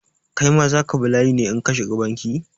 Kai ma za ka bi layi ne in ka shiga bankin?